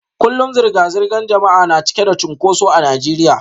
Kullum zirga-zirgar jama'a na cike da cunkoso a Najeriya